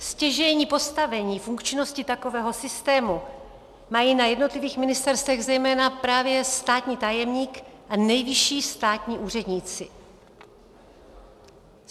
Stěžejní postavení funkčnosti takového systému mají na jednotlivých ministerstvech zejména právě státní tajemník a nejvyšší státní úředníci.